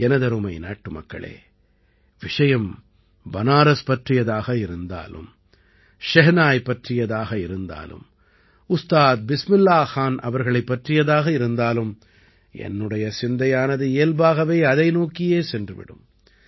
எனதருமை நாட்டுமக்களே விஷயம் பனாரஸ் பற்றியதாக இருந்தாலும் ஷெஹனாய் பற்றியதாக இருந்தாலும் உஸ்தாத் பிஸ்மில்லாஹ் கான் அவர்களைப் பற்றியதாக இருந்தாலும் என்னுடைய சிந்தையானது இயல்பாகவே அதை நோக்கிச் சென்றுவிடும்